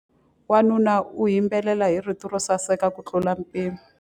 Wanuna u yimbelela hi rito ro saseka kutlula mpimo.